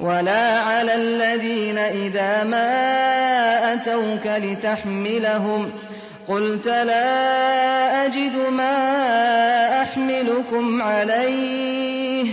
وَلَا عَلَى الَّذِينَ إِذَا مَا أَتَوْكَ لِتَحْمِلَهُمْ قُلْتَ لَا أَجِدُ مَا أَحْمِلُكُمْ عَلَيْهِ